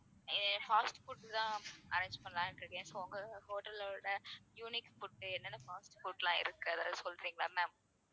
fast food தான் arrange பண்ணலாம்னு இருக்கேன் so உங்க hotel ளோட unique food உ என்னென்ன fast food லாம் இருக்கு அதெல்லாம் சொல்றீங்களா ma'am